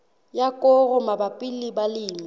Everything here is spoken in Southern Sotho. ya koro mabapi le balemi